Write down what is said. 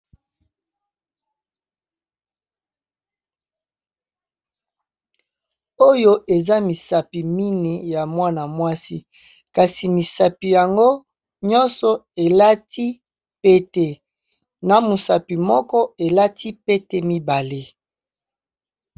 Oyo eza misapi mineyi ya mwana mwasi, kasi misapi yango nyonso elati pete na mosapi moko elati pete mibale.